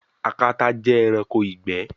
Akata jẹ ẹranko igbẹ